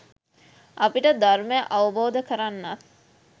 අපිට ධර්මය අවබෝධ කරන්නත්